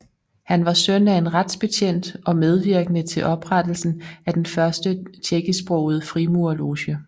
Han var søn af en retsbetjent og medvirkede til oprettelsen af den første tjekkisksprogede frimurerloge